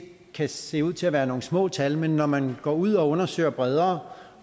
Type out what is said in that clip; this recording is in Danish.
kan se ud til at være nogle små tal men når man går ud og undersøger bredere